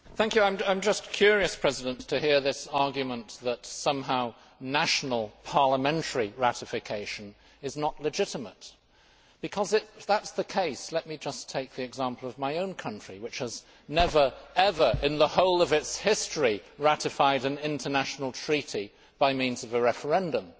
Mr President, I am just curious to hear this argument that somehow national parliamentary ratification is not legitimate because, if that is the case, let me just take the example of my own country, which has never, ever in the whole of its history, ratified an international treaty by means of a referendum.